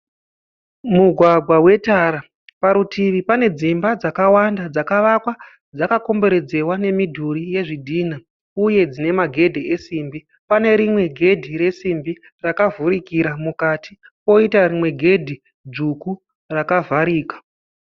Mugwagwa wetara. Parutivi pane dzimba dzakawanda dzakavakwa dzakakomberedzewa nemidhuri yezvidhinha uye dzine magedhi esimbi. Pane rimwe gedhi resimbi rakavhurikira mukati poita rimwe gedhi dzvuku rakavharika